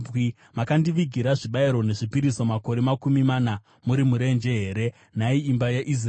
“Makandivigira zvibayiro nezvipiriso makore makumi mana muri murenje here, nhai imba yaIsraeri?